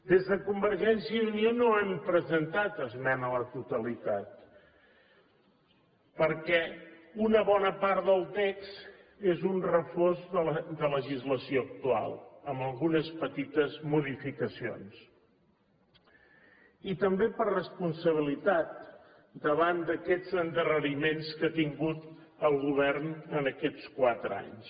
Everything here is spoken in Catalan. des de convergència i unió no hem presentat esmena a la totalitat perquè una bona part del text és una refosa de la legislació actual amb algunes petites modificacions i també per responsabilitat davant d’aquests endarreriments que ha tingut el govern en aquests quatre anys